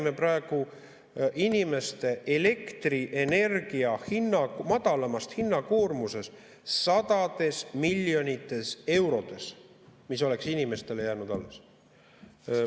–, me räägime praegu inimeste elektrienergia hinna madalamast hinnakoormusest sadades miljonites eurodes, mis oleks inimestele jäänud alles.